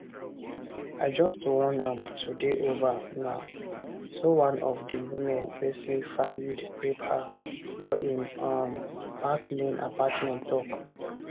i just wan am to dey over na so one of di women wey say fayed rape her for im um park lane apartment tok